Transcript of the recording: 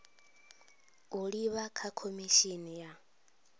u livha kha khomishini ya